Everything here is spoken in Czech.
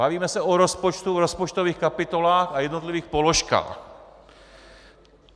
Bavíme se o rozpočtu v rozpočtových kapitolách a jednotlivých položkách.